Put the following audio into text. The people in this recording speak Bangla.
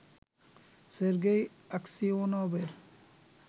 সের্গেই আকসিওনভের